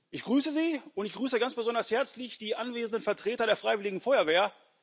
Ich grüße Sie, und ich grüße ganz besonders herzlich die anwesenden Vertreter der freiwilligen Feuerwehr.